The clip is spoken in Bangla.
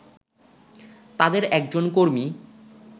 তাদের একজন কর্মী